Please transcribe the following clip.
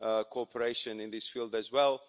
cooperation in this field as well.